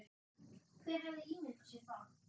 Hver hefði ímyndað sér það?